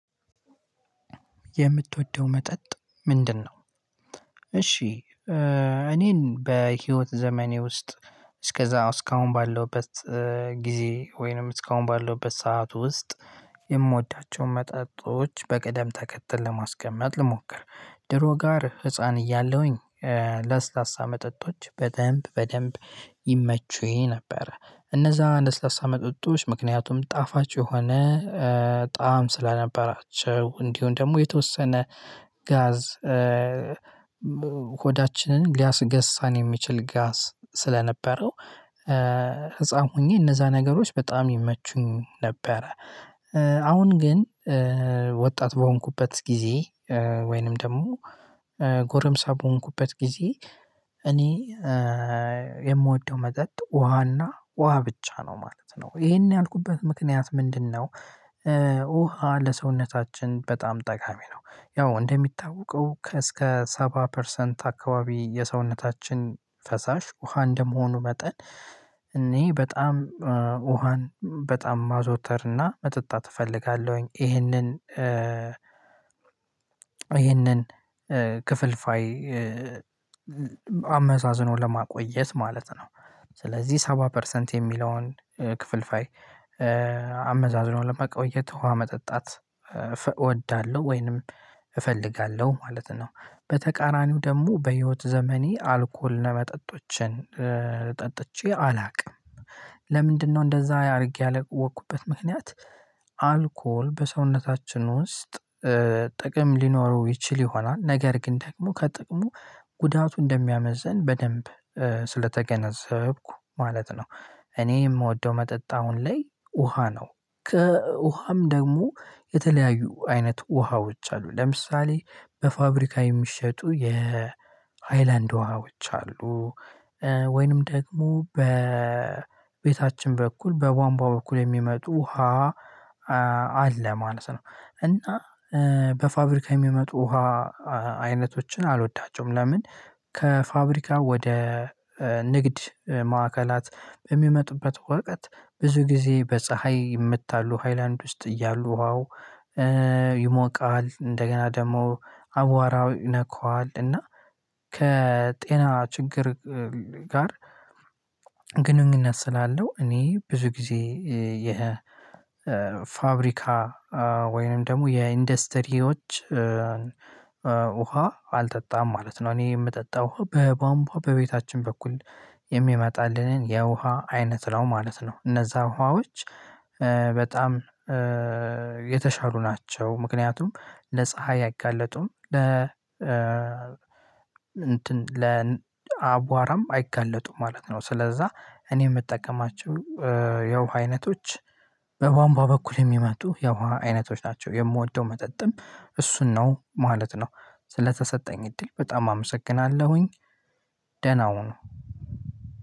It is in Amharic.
የምትወደው መጠጥ ምንድነው? እሺ እኔን በህይወት ዘመኔ ውስጥ እስከዛ እስካሁን ባለሁበት ጊዜ ወይንም እስካሁን ባለሁበት ሰዓት ውስጥ የምወዳቸውን መጠጦች በቀደም ተከተል ለማስቀመጥ ልሞክር ድሮ ጋር ህፃን እያለሁኝ ለስላሳ መጠጦች በደንብ በደንብ ይመቹኝ ነበር እነዛ ለስላሳ መጠጦች ምክንያቱም ጣፋጭ የሆነ በጣም ስለነበራቸው እንዲሁም ደግሞ የተወሰነ ጋዝ ሆዳችንን ሊያስገሳን የሚችል ጋስ ስለነበረው ህፃን ሆኜ እነዛ ነገሮች በጣም ይመቹኝ ነበረ። አሁን ግን ወጣት በሆንኩበት ጊዜ ወይንም ደግሞ ጎረምሳ በሆንኩበት ጊዜ እኔ የምወደው መጠጥ ውሃና ውሃ ብቻ ነው ማለት ነው። ይሄን ያልኩበት ምክንያት ምንድነው? ውሃ ለሰውነታችን በጣም ጠቃሚ ነው። ያው እንደሚታወቀው ከእስከ ሰባ ፐርሰንት አካባቢ የሰውነታችን ፈሳሽ ውሃ እንደመሆኑ መጠን እኔ በጣም ውሃን በጣም ማዘዉተርና መጠጣት እፈልጋለሁኝ። ይህንን ይህንን ክፍልፋይ አመሳዝኖ ለማቆየት ማለት ነው። ስለዚህ ሰባ ፐርሰንት የሚለውን ክፍልፋይ አመዛዝኖ ለመቆየት ውሃ መጠጣት እወዳለሁ ወይንም እፈልጋለሁ ማለት ነው። በተቃራኒው ደግሞ በህይወት ዘመኔ አልኮል ለመጠጦችን ጠጥቼ አላውቅም። ለምንድነው እንደዛ አድርጌ ያላወኩበት ምክንያት? አልኮል በሰውነታችን ውስጥ ጥቅም ሊኖረው ይችል ይሆናል ነገር ግን ደግሞ ከጥቅሙ ጉዳቱ እንደሚያመዝን በደንብ ስለተገነዘብኩ ማለት ነው። እኔ የምወደው መጠጥ አሁን ላይ ውሃ ነው። ከውሃም ደግሞ የተለያዩ አይነት ውሃዎች አሉ ለምሳሌ በፋብሪካ የሚሸጡ የሃይላንድ ውሃዎች አሉ። ወይንም ደግሞ በቤታችን በኩል በቧንቧ በኩል የሚመጡ ውሃ አለ ማለት ነው። እና በፋብሪካ የሚመጡ ውሃ አይነቶችን አልወዳቸውም ለምን? ከፋብሪካ ወደ ንግድ ማዕከላት በሚመጡበት ወቀት ብዙ ጊዜ በፀሀይ ይመታሉ። ሃይላንድ ውስጥ እያሉ ውሃው ይሞቃል እንደገና ደግሞ አቧራው ይነካዋል። እና ከጤና ችግር ጋር ግንኙነት ስላለው እኔ ብዙ ጊዜ ይሄ ፋብሪካ ወይንም ደግሞ የኢንዱስትሪዎች ውሃ አልጠጣም ማለት ነው። እኔ የምጠጣው በባምቧ በቤታችን በኩል የሚመጣልንን የውሃ አይነት ነው ማለት ነው። እነዛ ዉሀዎች በጣም የተሻሉ ናቸው። ምክንያቱም ለፀሀይ አይጋለጡም ለ እንትን ለአቧራም አይጋለጡም ማለት ነው። ስለዛ እኔ የምጠቀማቸው የውሃ አይነቶች በቧንቧ በኩል የሚመጡ የውሃ አይነቶች ናቸው። የምወደው መጠጥም እሱን ነው ማለት ነው። ስለተሰጠኝ እድል በጣም አመሰግናለሁኝ። ደህና ሁኑ።